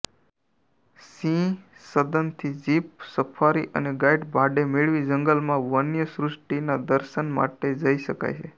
સિંહ સદનથી jeep safari અને guide ભાડે મેળવી જંગલમાં વન્યસૃષ્ટિના દર્શન માટે જઈ શકાય છે